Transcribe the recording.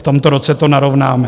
V tomto roce to narovnáme.